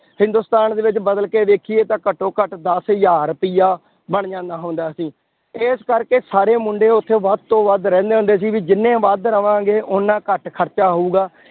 ਹਿੰਦੁਸਤਾਨ ਦੇ ਵਿੱਚ ਬਦਲ ਕੇ ਦੇਖੀਏ ਤਾਂ ਘੱਟੋ ਘੱਟ ਦਸ ਹਜ਼ਾਰ ਰੁਪਇਆ ਬਣ ਜਾਂਦਾ ਹੁੰਦਾ ਸੀ, ਇਸ ਕਰਕੇ ਸਾਰੇ ਮੁੰਡੇ ਉੱਥੇ ਵੱਧ ਤੋਂ ਵੱਧ ਰਹਿੰਦੇ ਹੁੰਦੇ ਸੀ ਵੀ ਜਿੰਨੇ ਵੱਧ ਰਵਾਂਗੇ ਓਨਾ ਘੱਟ ਖਰਚਾ ਹੋਊਗਾ